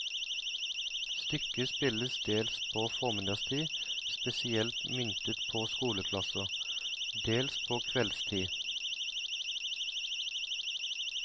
Stykket spilles dels på formiddagstid, spesielt myntet på skoleklasser, dels på kveldstid.